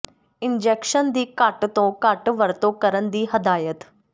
injection ਦੀ ਘੱਟ ਤੋਂ ਘੱਟ ਵਰਤੋਂ ਕਰਨ ਦੀ ਹਦਾਇਤ